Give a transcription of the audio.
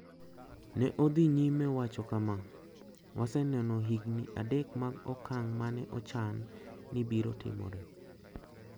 Ne odhi nyime wacho kama: "Waseneno higini adek mag okang` ma ne ochan ni biro timore.